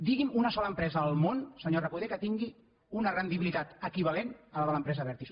digui’m una sola empresa al món senyor recoder que tingui una rendibilitat equivalent a la de l’empresa abertis